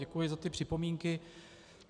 Děkuji za ty připomínky.